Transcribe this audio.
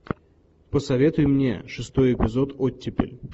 посоветуй мне шестой эпизод оттепель